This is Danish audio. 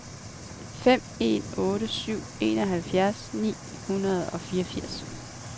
fem en otte syv enoghalvfjerds ni hundrede og fireogfirs